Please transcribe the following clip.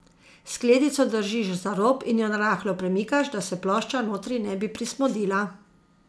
Skledico držiš za rob in jo narahlo premikaš, da se plošča notri ne bi prismodila.